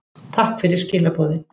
Takk fyrir skilaboðin.